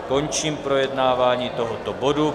Končím projednávání tohoto bodu.